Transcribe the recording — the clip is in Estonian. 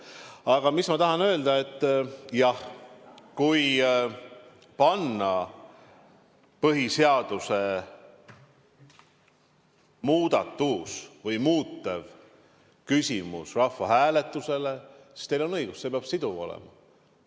Aga mis ma tahan öelda: jah, kui panna põhiseaduse muudatus või seda muutev küsimus rahvahääletusele, siis teil on õigus, see peab siduv olema.